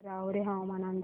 राहुरी हवामान अंदाज